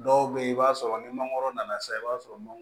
Dɔw bɛ yen i b'a sɔrɔ ni mangoro nana se i b'a sɔrɔ